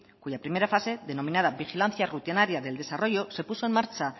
cuya primera pase denominada vigilancia rutinaria del desarrollo se puso en marcha